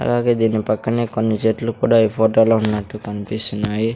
అలాగే దీని పక్కనే కొన్ని చెట్లు కూడా ఈ ఫోటో ఉన్నట్టు కన్పిస్తున్నాయి.